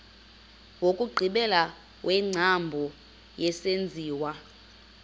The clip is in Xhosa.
wokugqibela wengcambu yesenziwa